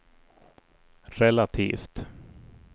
relativt